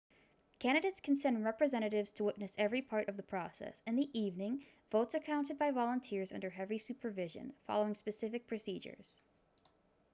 candidates can send representatives to witness every part of the process in the evening votes are counted by volunteers under heavy supervision following specific procedures